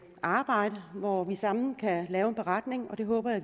arbejde hvor vi sammen kan lave en beretning det håber jeg